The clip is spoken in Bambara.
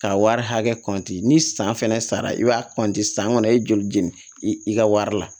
K'a wari hakɛ kɔnti ni san fɛnɛ sara i b'a san kɔni i ye joli jeni i ka wari la